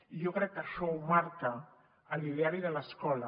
i jo crec que això ho marca l’ideari de l’escola